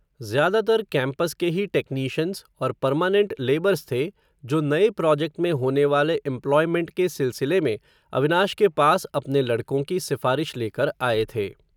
ज़्यादातर कैम्पस के ही टैक्नीशन्स, और परमानेन्ट लेबर्स थे, जो नये प्रोजेक्ट में होने वाले एम्प्लॉयमेन्ट के सिलसिले में, अविनाश के पास, अपने लडक़ों की सिफ़ारिश लेकर आये थे